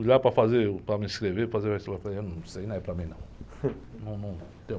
Fui para fazer, uh, para me inscrever, fazer o... Falei, ah, não, isso aí não é para mim, não.